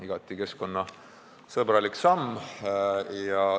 Igati keskkonnasõbralik samm.